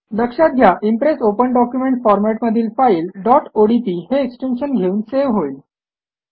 लक्षात घ्या impress open document format मधील फाईल डॉट ओडीपी हे एक्सटेन्शन घेऊन सेव्ह होईल